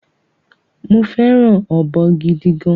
Mo féràn ọ̀bọ gidi gan